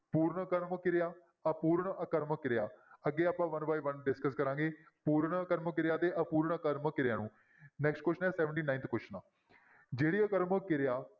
ਪੂਰਨ ਆਕਰਮਕ ਕਿਰਿਆ, ਅਪੂਰਨ ਆਕਰਮਕ ਕਿਰਿਆ, ਅੱਗੇ ਆਪਾਂ one by one discuss ਕਰਾਂਗੇ, ਪੂਰਨ ਆਕਰਮਕ ਕਿਰਿਆ ਤੇ ਅਪੂਰਨ ਆਕਰਮਕ ਕਿਰਿਆ ਨੂੰ next question ਹੈ seventy-ninth question ਜਿਹੜੀ ਆਕਰਮਕ ਕਿਰਿਆ